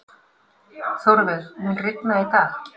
Þórveig, mun rigna í dag?